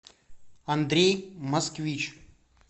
андрей москвич